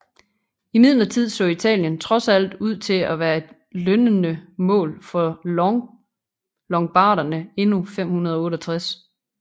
Imidlertid så Italien trods alt ud til at være et lønnende mål for longobarderne endnu 568